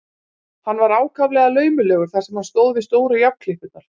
Hann var ákaflega laumulegur þar sem hann stóð við stóru járnklippurnar.